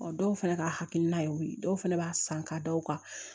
dɔw fana ka hakilina yew ye dɔw fana b'a san k'a da o kan